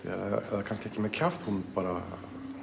eða kannski ekki með kjaft hún bara